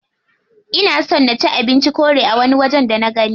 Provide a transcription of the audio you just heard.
Ina son na ci abincin korea a wani waje da nagani.